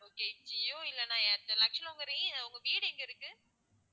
okay Jio இல்லன்னா Airtel actual ஆ உங்க வீ~ உங்க வீடு எங்க இருக்கு?